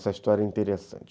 Essa história é interessante.